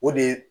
O de ye